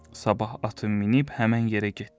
Sabah atı minib həmin yerə getdi.